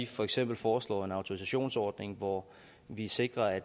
for eksempel foreslår en autorisationsordning hvor vi sikrer at